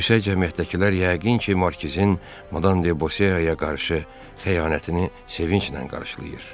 Yüksək cəmiyyətdəkilər yəqin ki, markizin Madam De Boseaya qarşı xəyanətini sevinclə qarşılayır.